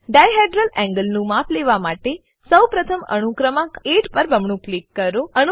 dihedral angle નું માપ લેવા માટે સૌ પ્રથમ અણુ ક્રમાંક 8 પર બમણું ક્લિક કરો